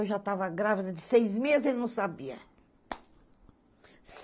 Eu já estava grávida de seis meses e não sabia.